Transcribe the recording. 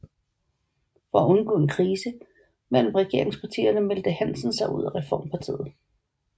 For at undgå en krise mellem regeringspartierne meldte Hansen sig ud af Reformpartiet